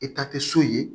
E ta te so ye